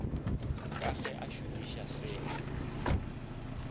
ka ge a šomiša seo